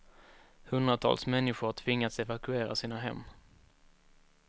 Hundratals människor har tvingats evakuera sina hem.